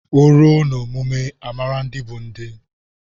O ruo na omume amara ndị bụ ndị